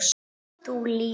Þú líka?